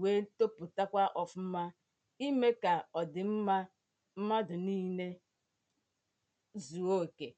wee toputakwa ọfụma ime ka ọ dị mma mmadụ niile zuo okė